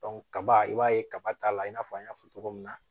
kaba i b'a ye kaba ta la i n'a fɔ an y'a fɔ cogo min na